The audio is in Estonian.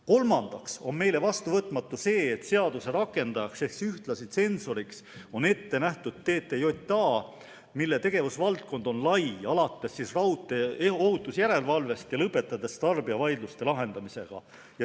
Kolmandaks on meile vastuvõetamatu see, et seaduse rakendajaks ehk ühtlasi tsensoriks on ette nähtud TTJA, mille tegevusvaldkond on lai, alates raudteeohutuse järelevalvest ja lõpetades tarbijavaidluste lahendamisega.